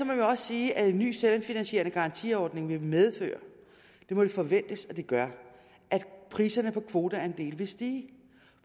man også sige at en ny selvfinansierende garantiordning vil medføre det må vi forvente at den gør at priserne på kvoteandele vil stige